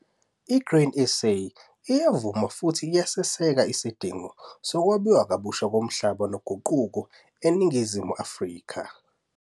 I-Grain SA uyavuma futhi uyaseseka isidingo sokwabiwa kabusha komhlaba noguquko eNingizimu Afrika,